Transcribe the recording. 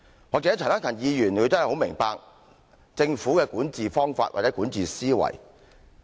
也許陳克勤議員真的很明白政府的管治方法，或者管治思維。